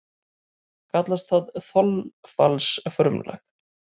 Kallast það þolfallsfrumlag.